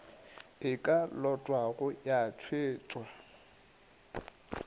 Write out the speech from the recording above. e ka lotwago ya tšwetšwa